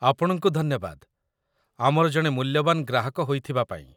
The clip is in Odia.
ଆପଣଙ୍କୁ ଧନ୍ୟବାଦ, ଆମର ଜଣେ ମୂଲ୍ୟବାନ ଗ୍ରାହକ ହୋଇଥିବା ପାଇଁ